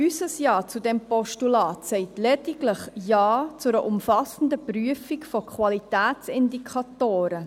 Unser Ja zu diesem Postulat sagt lediglich Ja zu einer umfassenden Prüfung von Qualitätsindikatoren.